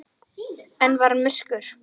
Enn var myrkur.